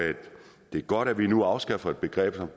det er godt at vi nu afskaffer et begreb som